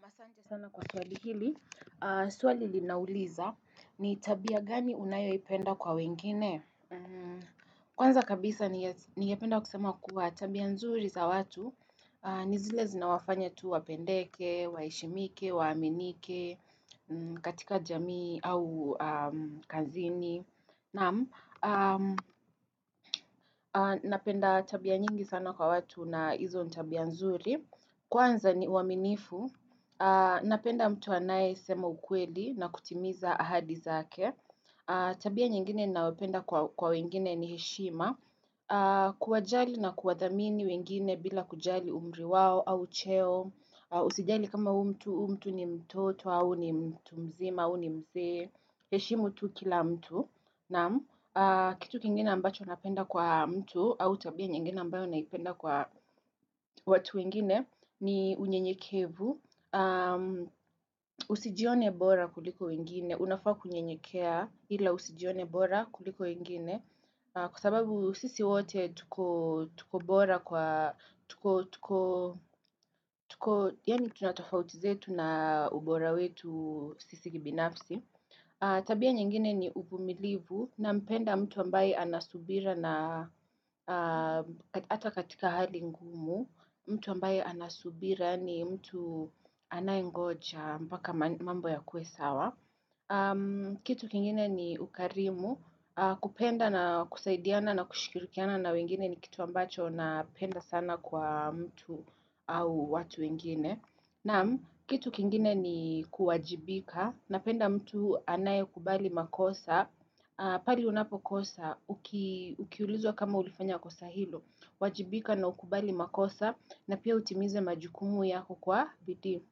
Masante sana kwa swali hili. Aaaah swali linauliza ni tabia gani unayoipenda kwa wengine? Mmmmh Kwanza kabisa niyas ningependa kusema kuwa tabia nzuri za watu aaah ni zile zinawafanya tu wapendeke, waheshimike, waaminike mmmh, katika jamii au aaah ka zini naaaam aaah Napenda tabia nyingi sana kwa watu na hizo ni tabia nzuri. Kwanza ni uwaminifu Napenda mtu anayesema ukweli na kutimiza ahadi zake aaah Tabia nyingine nayopenda kwa kwa wengine ni heshima aaaah,,, kuwajali na kuwadhamini wengine bila kujali umri wao au cheo Usijali kama huu mtu, huu mtu ni mtoto au ni mtu mzima au ni mzee heshimu tu kila mtu naam aaaah,,,,, kitu kingine ambacho napenda kwa mtu au tabia nyingine ambayo naipenda kwa watu wengine ni unyenyekevu aaah mmmh Usijione bora kuliko wengine unafaa kunyenyekea ila usijione bora kuliko wengine na kwa sababu sisi wote tukoo tuko bora kwa tuko tukoo Yani tunatofauti zetu na ubora wetu Sisi kibinafsi. Tabia nyingine ni uvumilivu nampenda mtu ambaye anasubira, na aaah hata katika hali ngumu mtu ambaye anasubira ni mtu anayengoja mbaka mambo ya kuwe sawa aaah mmmmh. Kitu kingine ni ukarimu aaah, kupenda na kusaidiana na kushikirikiana na wengine ni kitu ambacho napenda sana kwa mtu au watu wengine. Naam kitu kingine ni kuwajibika, napenda mtu anayekubali makosa, aaah pale unapokosa, uki ukiulizwa kama ulifanya kosa hilo, wajibika na ukubali makosa na pia utimize majukumu yako kwa bidii.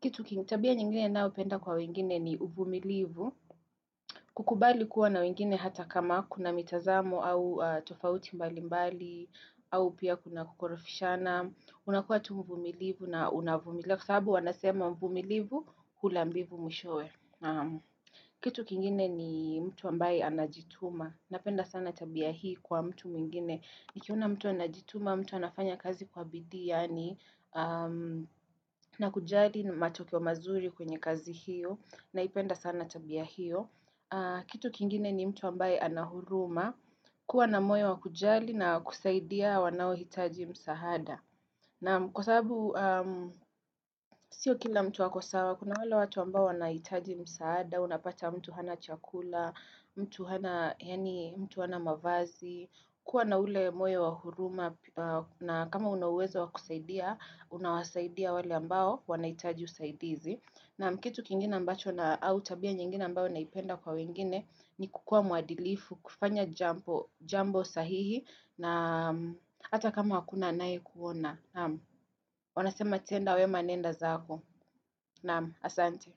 Kitu kingi tabia nyingine nayopenda kwa wengine ni uvumilivu. Kukubali kuwa na wengine hata kama kuna mitazamo au aaah tofauti mbali mbali au pia kuna kukorofishana. Unakuwa tu mvumilivu na unavumilia. Kwa sababu wanasema mvumilivu hula mbivu mwishowe. Kitu kingine ni mtu ambaye anajituma. Napenda sana tabia hii kwa mtu mwingine. Nikiona mtu anajituma, mtu anafanya kazi kwa bidii, yaani aaah mmh na kujali matokeo mazuri kwenye kazi hiyo, naipenda sana tabia hiyo aaah. Kitu kingine ni mtu ambaye anahuruma, kuwa na moyo wa kujali na kusaidia wanao hitaji msahada. Naam kwa sababu, aaah mh sio kila mtu ako sawa, kuna wala watu ambao wanahitaji msaada, unapata mtu hana chakula, mtu hana, yani, mtu hana mavazi, kuwa na ule moyo wa huruma na kama una uwezo wakusaidia, unawasaidia wale ambao wanahitaji usaidizi. Naam kitu kingine ambacho na au tabia nyingine ambao naipenda kwa wengine ni kukua mwadilifu, kufanya jambo sahihi na mmh hata kama hakuna anayekuona naam. Wanasema tenda wema nenda zako naam asante.